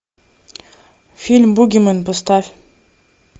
фильм бугимен поставь